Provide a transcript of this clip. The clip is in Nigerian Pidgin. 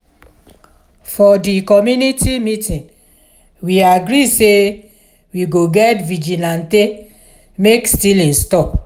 for di community meeting we agree sey we go get vigilantee make stealing stop.